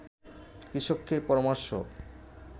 কৃষককে পরামর্শ